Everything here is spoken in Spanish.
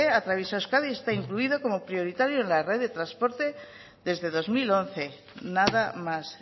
atraviesa euskadi y está incluido como prioritario en la red de transporte desde dos mil once nada más